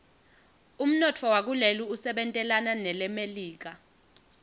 umnotfo wakuleli usebentelana nelemelika